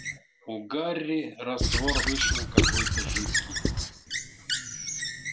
у гарри раствор вышел какой-то жидкий